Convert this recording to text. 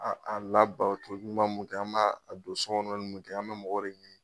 A a labato ɲuman mun kɛ an b'a a don so kɔnili mun kɛ an be mɔgɔ de ɲini